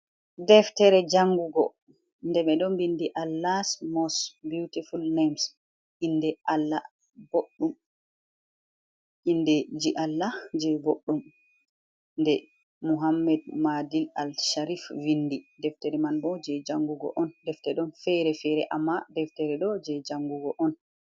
Deftere jangugo, nde be ɗon vindi Allah mos beyutiful nems. Inde ji Allah je boɗɗum, nde muhammed madi Al sharif vindi. Deftere man bo jei jan gugo on. Deftere ɗon fere-fere amma deftere ɗo je jangugo on.